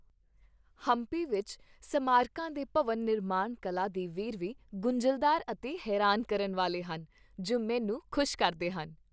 ਹੰਪੀ ਵਿੱਚ ਸਮਾਰਕਾਂ ਦੇ ਭਵਨ ਨਿਰਮਾਣ ਕਲਾ ਦੇ ਵੇਰਵੇ ਗੁੰਝਲਦਾਰ ਅਤੇ ਹੈਰਾਨ ਕਰਨ ਵਾਲੇ ਹਨ, ਜੋ ਮੈਨੂੰ ਖੁਸ਼ ਕਰਦੇ ਹਨ।